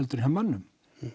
heldur en hjá mönnum